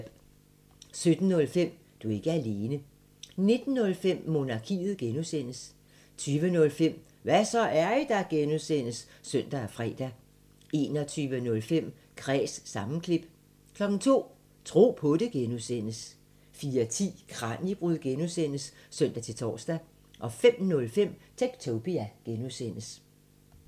17:05: Du er ikke alene 19:05: Monarkiet (G) 20:05: Hva' så, er I der? (G) (søn og fre) 21:05: Kræs sammenklip 02:00: Tro på det (G) 04:10: Kraniebrud (G) (søn-tor) 05:05: Techtopia (G)